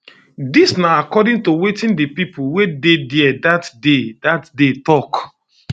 dis na according to wetin di pipo wey dey dia dat day dat day tok